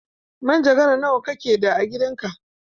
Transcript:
Manjagara nawa kake da a gidan ka?